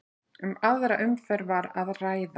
Um aðra umferð var að ræða